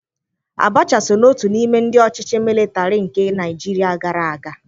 Abacha so n'otu n'ime ndị ọchịchị mịlịtarị nke Naịjiria gara aga.